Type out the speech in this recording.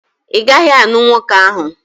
Ị gaghị anụ nwoke ahụ!